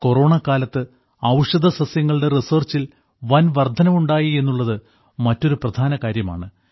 കൊറോണക്കാലത്ത് ഔഷധസസ്യങ്ങളുടെ റിസർച്ചിൽ വൻ വർദ്ധനവുണ്ടായി എന്നുള്ളത് മറ്റൊരു പ്രധാന കാര്യമാണ്